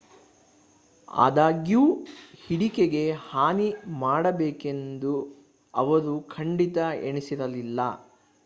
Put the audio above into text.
ಆದಾಗ್ಯೂ ಹಿಡಿಕೆಗೆ ಹಾನಿ ಮಾಡಬೇಕೆಂದು ಅವರು ಖಂಡಿತ ಎಣಿಸಿರಲಿಲ್ಲ